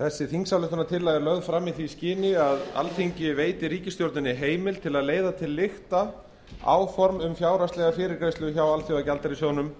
þingsályktunartillagan er lögð fram í því skyni að alþingi veiti ríkisstjórninni heimild til að leiða til lykta áform um fjárhagslega fyrirgreiðslu frá alþjóðagjaldeyrissjóðnum